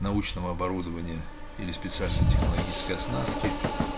научного оборудования или специальной технологической оснастки